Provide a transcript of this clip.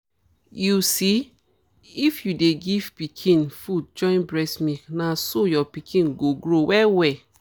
you see if you dey give pikin food join breast milk na so your pikin go grow well well